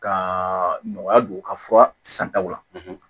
Ka nɔgɔya don u ka fura santaw la